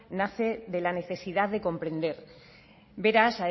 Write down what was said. nace de la necesidad de comprender beraz